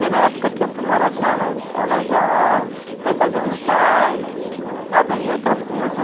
Daí na época que eu fui morar com elas, elas já né, faziam um estágio, já estava em outra em outro